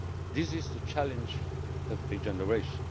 This is the challenge of a generation.